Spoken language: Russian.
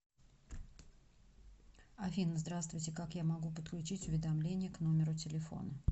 афина здравствуйте как я могу подключить уведомления к номеру телефона